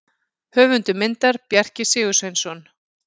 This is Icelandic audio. Höfundur myndar: Bjarki Sigursveinsson.